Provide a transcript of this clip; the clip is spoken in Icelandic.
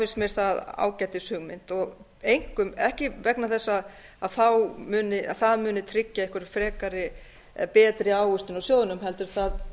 finnst mér það ágætis hugmynd ekki vegna þess að það muni tryggja einhver frekari eða betri ávöxtun á sjóðnum heldur